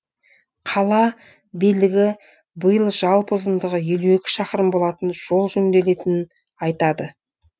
қала билігі биыл жалпы ұзындығы елу екі шақырым болатын жол жөнделетінін айтады